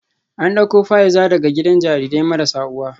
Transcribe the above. An dauko Fa’iza daga gidan jarirai marasa uwa